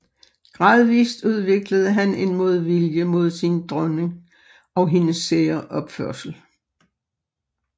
Gradvist udviklede han en modvilje mod sin nye dronning og hendes sære opførsel